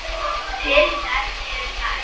Til þess eru þær.